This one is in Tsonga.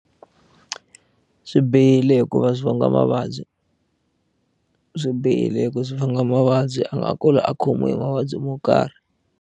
Swi bihile hikuva swi vanga mavabyi swi bihile hi ku swi vanga mavabyi a nga kula a khomiwe hi mavabyi mo karhi.